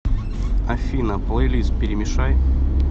афина плейлист перемешай